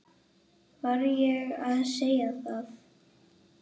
Var ég að segja það?